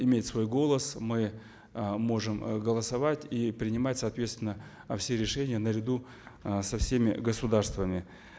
иметь свой голос мы э можем э голосовать и принимать соответственно все решения наряду э со всеми государствами